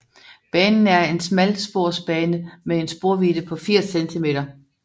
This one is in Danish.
Banen er en smalsporsbane med en sporvidde på 80 cm